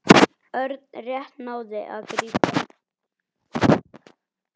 Örn rétt náði að grípa.